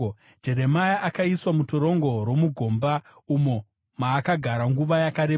Jeremia akaiswa mutorongo romugomba, umo maakagara nguva yakareba.